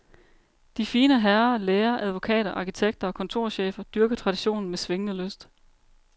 De fine herre, læger, advokater, arkitekter og kontorchefer dyrker traditionen med svingende lyst.